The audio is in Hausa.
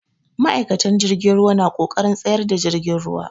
Ma'aikatan jirgin ruwa na ƙoƙarin tsayar da jirgin ruwa.